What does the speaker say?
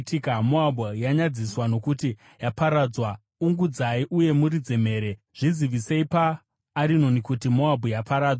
Moabhu yanyadziswa, nokuti yaparadzwa. Ungudzai uye muridze mhere! Zvizivisei paArinoni kuti Moabhu yaparadzwa.